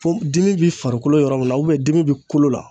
Fo dimi bɛ farikolo yɔrɔ min na dimi bɛ kolo la.